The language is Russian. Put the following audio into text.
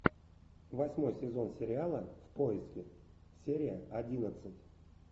восьмой сезон сериала в поиске серия одиннадцать